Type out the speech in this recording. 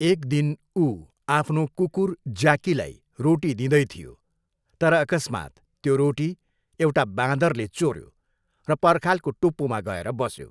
एक दिन ऊ आफ्नो कुकुर ज्याकीलाई रोटी दिदैथियो तर अकस्मात त्यो रोटी एउटा बाँदरले चोऱ्यो र पर्खालको टुप्पोमा गएर बस्यो।